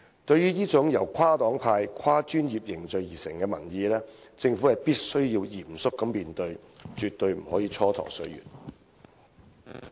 對於這種由跨黨派、跨專業凝聚而成的民意，政府必須嚴肅面對，絕對不可以蹉跎歲月。